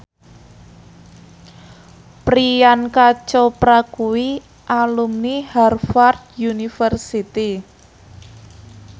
Priyanka Chopra kuwi alumni Harvard university